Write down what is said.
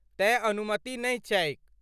तेँ अनुमति नहि छैक।